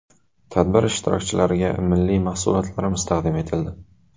Tadbir ishtirokchilariga milliy mahsulotlarimiz tadim etildi.